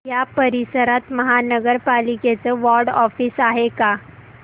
या परिसरात महानगर पालिकेचं वॉर्ड ऑफिस आहे का